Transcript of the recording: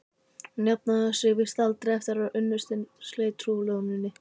Hún jafnaði sig víst aldrei eftir að unnustinn sleit trúlofuninni.